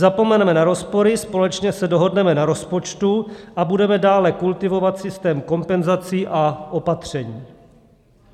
Zapomeneme na rozpory, společně se dohodneme na rozpočtu a budeme dále kultivovat systém kompenzací a opatření.